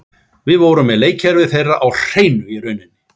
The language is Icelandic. Við vorum með leikkerfið þeirra á hreinu í rauninni.